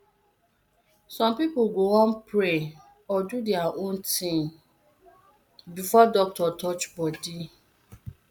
some people go wan pray or do their own thing before doctor touch body